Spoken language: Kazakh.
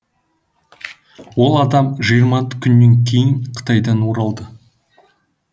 ол адам жиырма күннен кейін қытайдан оралды